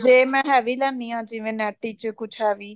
ਜੇ ਮੈਂ heavy ਲੈਂਦੀ ਹਾਂ ਜਿਵੇਂ ਨੈਟ ਵਿੱਚ ਕੁੱਝ heavy